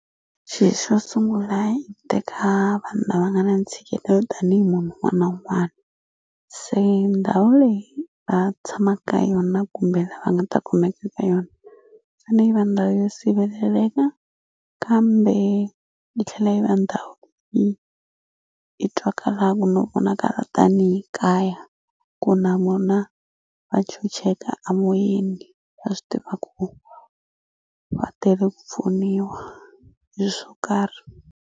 Xi xo sungula i teka vanhu lava nga na ntshikelelo tanihi munhu un'wana na un'wani se ndhawu leyi va tshama ka yona kumbe lava nga ta kumeka ka yona yi fane yi va ndhawu yo siveleleka kambe yi tlhela yi va ndhawu yi yi twakala vonakala tanihi kaya ku na vona va chucheka a moyeni va swi tiva ku va tele ku pfuniwa hi swo karhi.